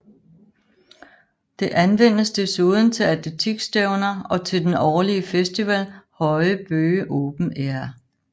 Det anvendes desuden til atletikstævner og til den årlige festival Høje Bøge Open Air